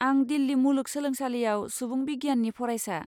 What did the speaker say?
आं दिल्ली मुलुगसोलोंसालियाव सुबुं बिगियाननि फरायसा।